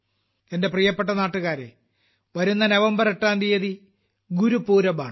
എന്റെ പ്രിയപ്പെട്ട നാട്ടുകാരെ വരുന്ന നവംബർ 8ാം തീയതി ഗുരു പുരബ് ആണ്